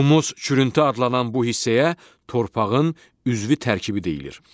Humus çürüntü adlanan bu hissəyə torpağın üzvü tərkibi deyilir.